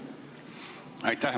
Aitäh!